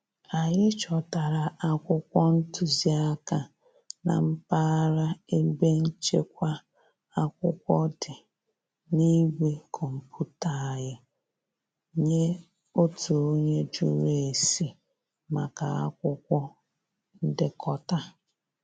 Anyị chọtara akwụkwọ ntụziaka na mpaghara ebe nchekwa akwụkwọ dị na igwe kọmputa anyị nye otu onye jụrụ ese maka akwụkwọ ndekọta